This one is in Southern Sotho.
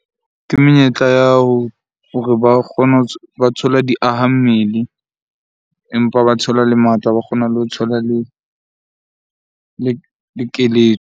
Ke menyetla ya hore ba kgone ba thole di aha mmele, empa ba thola le matla. Ba kgona le ho thola le keletso.